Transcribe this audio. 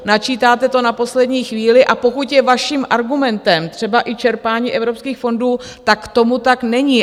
Načítáte to na poslední chvíli, a pokud je vaším argumentem třeba i čerpání evropských fondů, tak tomu tak není.